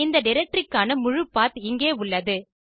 இந்த டைரக்டரி க்கான முழு பத் இங்கே உள்ளது